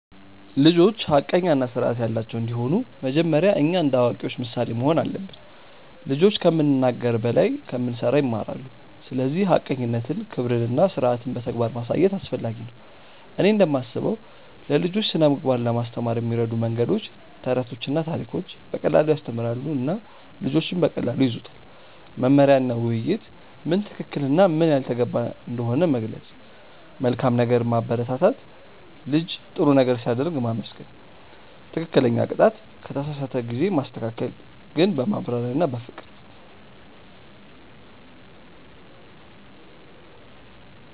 ልጆች ሐቀኛ እና ስርዓት ያላቸው እንዲሆኑ መጀመሪያ እኛ እንደ አዋቂዎች ምሳሌ መሆን አለብን። ልጆች ከምንናገር በላይ ከምንሠራ ይማራሉ፤ ስለዚህ ሐቀኝነትን፣ ክብርን እና ስርዓትን በተግባር ማሳየት አስፈላጊ ነው። እኔ እንደምስበው ለልጆች ስነ ምግባር ለማስተማር የሚረዱ መንገዶች፦ ተረቶችና ታሪኮች –> በቀላሉ ያስተምራሉ እና ልጆች በቀላሉ ይያዙታል። መመሪያ እና ውይይት –> ምን ትክክል እና ምን ያልተገባ እንደሆነ መግለጽ። መልካም ነገር ማበረታት –> ልጅ ጥሩ ነገር ሲያደርግ ማመስገን። ትክክለኛ ቅጣት –> ከተሳሳተ ጊዜ ማስተካከል ግን በማብራሪያ እና በፍቅር።